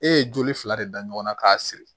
E ye joli fila de da ɲɔgɔnna k'a siri